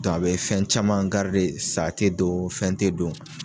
Dɔ a bɛ fɛn caman , sa te don fɛn te don.